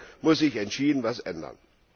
Also hier muss sich entschieden etwas ändern.